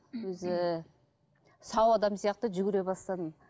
өзі сау адам сияқты жүгіре бастадым